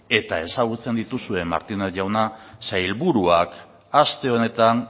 eta ezagutzen dituzue martinez jauna sailburuak aste honetan